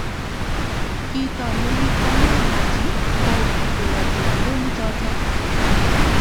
Kito ni kwonge Haji ko kerote murenik choto.